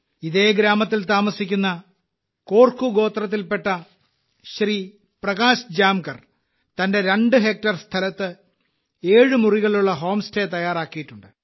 ഇതേ ഗ്രാമത്തിൽ താമസിക്കുന്ന കോർകു ഗോത്രത്തിൽപ്പെട്ട ശ്രീ പ്രകാശ് ജാംകർ തന്റെ രണ്ട് ഹെക്ടർ സ്ഥലത്ത് ഏഴ് മുറികളുള്ള ഹോം സ്റ്റേ തയ്യാറാക്കിയിട്ടുണ്ട്